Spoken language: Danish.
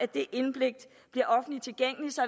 det indblik bliver offentligt tilgængeligt så